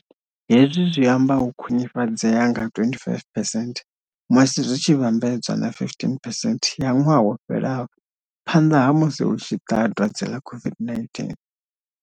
Hezwi zwi amba u khwinifhadzea nga 25 phesenthe musi zwi tshi vhambedzwa na 15 phesenthe ya ṅwaha wo fhelaho phanḓa ha musi hu tshi ṱaha dwadze ḽa COVID-19.